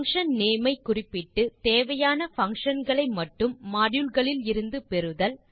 function name ஐ குறிப்பிட்டு தேவையான பங்ஷன் களை மட்டும் மாடியூல் களில் இருந்து பெறுதல்